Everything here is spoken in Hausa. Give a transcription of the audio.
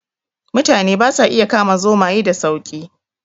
Mutane ba sa iya kama zomaye sa sauki